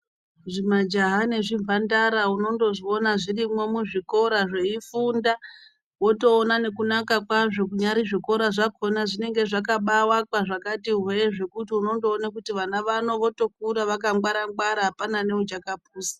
Zvimajaha nezvimhandara unondozviona zvirimo muzvikora zveifunda. Wotoona nekunaka kwazvo zvinyari zvikoro zvakhona zvinonga zvakaakwa zvakati hwee zvekuti unondona kuti vana vanongokura vakangwara-ngwara hapana uchakapusa.